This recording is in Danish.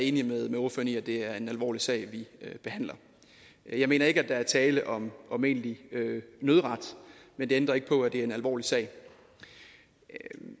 enig i at det er en alvorlig sag vi behandler jeg mener ikke der er tale om om egentlig nødret men det ændrer ikke på at det er en alvorlig sag